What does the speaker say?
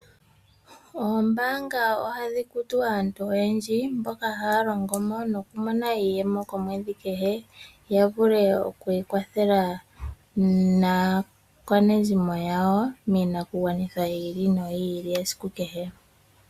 Oombanga oha dhikutu aantu oyendji mboka haalongomonokumona iiyemo komwedhi kehe yavule okwikwathela nakwaanezimo yawo miinakugwanitha yili noyili esiku kehe.